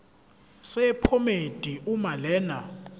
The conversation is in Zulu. sephomedi uma lena